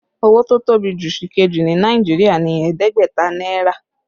Owó tó tóbi jù sìkejì ní Nàìjíríà ni ẹ̀ẹ́dẹ́gbẹ̀ta náírà